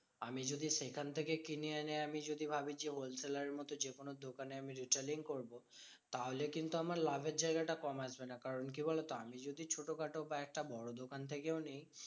আমি যদি সেখান থেকে কিনে এনে আমি যদি ভাবি যে, wholesaler এর মতো যেকোনো দোকানে আমি retailing করবো। তাহলে কিন্তু আমার লাভের জায়গাটা কম আসবে না। কারণ কি বলতো? আমি যদি ছোট খাটো কয়েকটা বড় দোকান থেকেও নিই